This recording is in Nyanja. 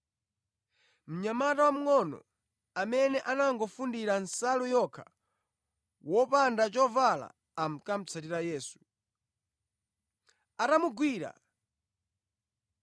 Mnyamata wamngʼono amene anangofundira nsalu yokha, wopanda chovala ankamutsatira Yesu. Atamugwira,